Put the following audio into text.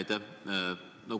Aitäh!